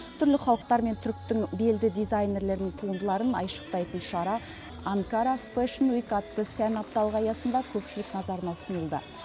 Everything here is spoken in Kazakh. түрлі халықтар мен түріктің белді дизайнерлерінің туындыларын айшықтайтын шара анкара фейшн уик атты сән апталығы аясында көпшілік назарына ұсынылды